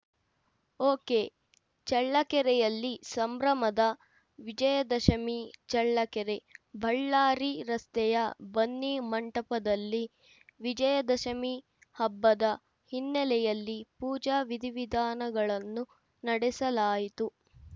ಒಕೆಚಳ್ಳಕೆರೆಯಲ್ಲಿ ಸಂಭ್ರಮದ ವಿಜಯದಶಮಿ ಚಳ್ಳಕೆರೆ ಬಳ್ಳಾರಿ ರಸ್ತೆಯ ಬನ್ನಿ ಮಂಟಪದಲ್ಲಿ ವಿಜಯದಶಮಿ ಹಬ್ಬದ ಹಿನ್ನೆಲೆಯಲ್ಲಿ ಪೂಜಾ ವಿಧಿವಿಧಾನಗಳನ್ನು ನಡೆಸಲಾಯಿತು